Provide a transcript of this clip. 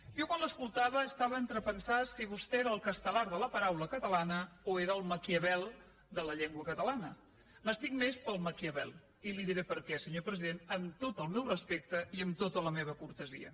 jo quan l’escoltava estava entre pensar si vostè era el castelar de la paraula catalana o era el maquiavel de la llengua catalana m’estic més pel maquiavel i li diré per què senyor president amb tot el meu respecte i amb tota la meva cortesia